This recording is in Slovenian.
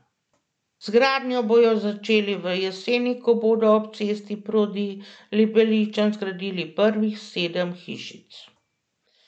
Z gradnjo bodo začeli v jeseni, ko bodo ob cesti proti Libeličami zgradili prvih sedem hišic.